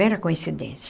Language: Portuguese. Mera coincidência.